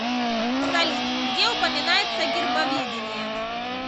салют где упоминается гербоведение